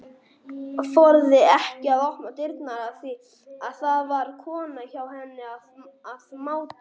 Þorði ekki að opna dyrnar af því að það var kona hjá henni að máta.